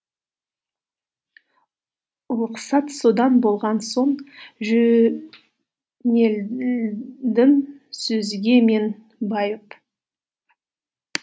ұлықсат содан болған соң жөнелдім сөзге мен байып